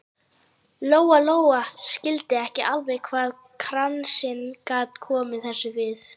Lóa Lóa skildi ekki alveg hvað kransinn gat komið þessu við.